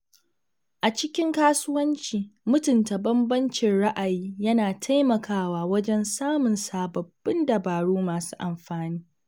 A cikin kasuwanci, mutunta bambancin ra’ayi yana taimakawa wajen samun sababbin dabaru masu amfani.